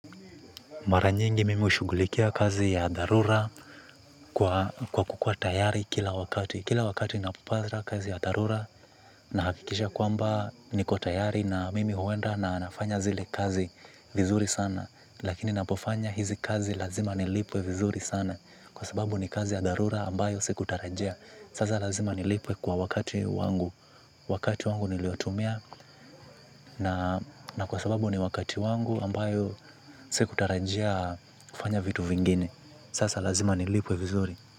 Mara nyingi mimi hushughulikia kazi ya dharura kwa kukuwa tayari kila wakati. Kila wakati napopanza kazi ya dharura na hakikisha kwamba niko tayari na mimi huenda na nafanya zile kazi vizuri sana. Lakini napofanyi hizi kazi lazima nilipwe vizuri sana kwa sababu ni kazi ya dharura ambayo sikutarajia. Saza lazima nilipwe kwa wakati wangu. Wakati wangu niliotumia na kwa sababu ni wakati wangu ambayo si kutarajia kufanya vitu vingine. Sasa lazima ni lipwe vizuri.